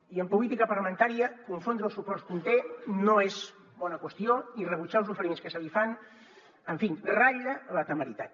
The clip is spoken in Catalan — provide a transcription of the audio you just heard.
i en política parlamentària confondre els suports que un té no és bona qüestió i rebutjar els oferiments que se li fan en fi ratlla la temeritat